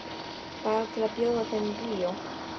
Bara til að bjóða þeim í bíó.